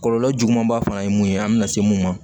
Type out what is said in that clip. Kɔlɔlɔ juguman ba fana ye mun ye an mi na se mun ma